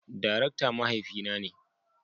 Darakta mahaifi na ne.